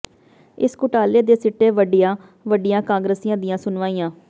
ਇਸ ਘੁਟਾਲੇ ਦੇ ਸਿੱਟੇ ਵੱਡੀਆਂ ਵੱਡੀਆਂ ਕਾਂਗਰਸੀਆਂ ਦੀਆਂ ਸੁਣਵਾਈਆਂ